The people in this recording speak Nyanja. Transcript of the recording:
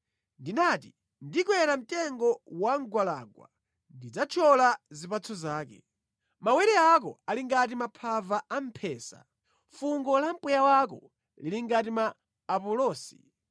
Ndinati, “Ndikwera mtengo wa mgwalangwa; ndidzathyola zipatso zake.” Mawere ako ali ngati maphava a mphesa, fungo la mpweya wako lili ngati ma apulosi,